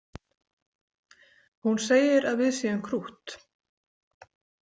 Hún segir að við séum krútt